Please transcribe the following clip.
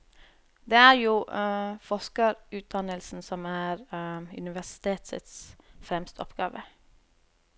Det er jo forskerutdannelsen som er universitets fremste oppgave.